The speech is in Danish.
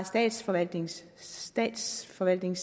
statsforvaltningen statsforvaltningen